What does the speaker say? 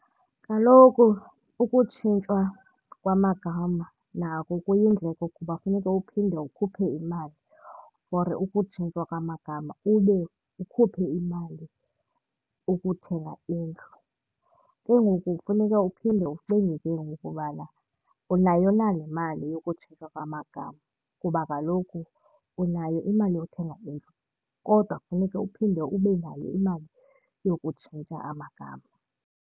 Kaloku ukutshintshwa kwamagama nako kuyindleko kuba funeke uphinde ukhuphe imali for ukutshintshwa kwamagama ube ukhuphe imali ukuthenga indlu. Ke ngoku kufuneka uphinde ucinge ke ngoku ubana unayo na le mali yokutshintshwa kwamagama kuba kaloku unayo imali yothenga indlu kodwa kufuneke uphinde ube nayo imali yokutshintsha amagama.